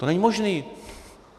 To není možné.